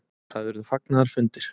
Það urðu fagnaðarfundir.